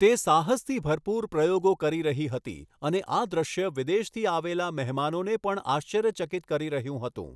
તે સાહસથી ભરપૂર પ્રયોગો કરી રહી હતી અને આ દૃશ્ય વિદેશથી આવેલા મહેમાનોને પણ આશ્ચર્યચકિત કરી રહ્યું હતું.